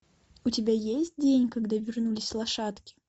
у тебя есть день когда вернулись лошадки